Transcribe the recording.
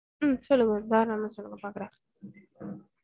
உம் சொல்லுங்க தாராளமா சொல்லுங்க பாக்குறேன்